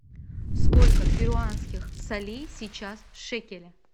сколько перуанских солей сейчас в шекеле